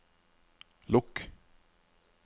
lukk